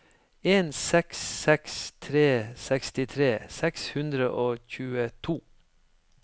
en seks seks tre sekstitre seks hundre og tjueto